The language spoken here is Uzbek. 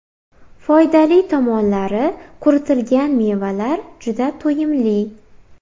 Foydali tomonlari Quritilgan mevalar juda to‘yimli.